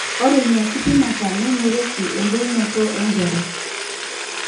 ore ina kipimeta neing'orieki embulunoto enkerai